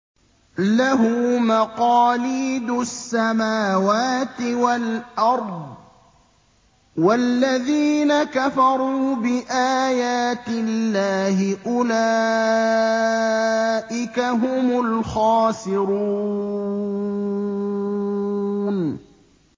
لَّهُ مَقَالِيدُ السَّمَاوَاتِ وَالْأَرْضِ ۗ وَالَّذِينَ كَفَرُوا بِآيَاتِ اللَّهِ أُولَٰئِكَ هُمُ الْخَاسِرُونَ